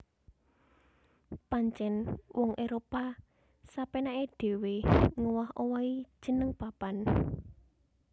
Pancèn wong Éropah sapénaké dhéwé ngowah owahi jeneng papan